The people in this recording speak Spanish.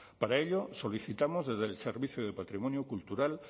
para ello solicitamos desde el servicio de patrimonio cultural